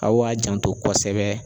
Aw ka janto kosɛbɛ.